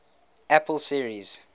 apple series